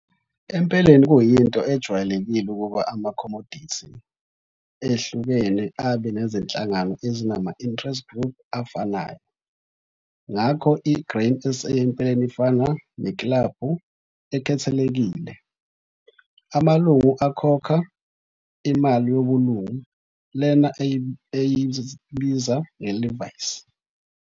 Empeleni kuyinto ejwayelelkile ukuba amakhomodithi ehlukene abe nezinhlangano ezinama-interest-group afanayo. Ngakho i-Grain SA empeleni ifana neklabhu ekhethekile. Amalungu akhokha 'imali yobulungu', lena esiyibiza nge'levies'.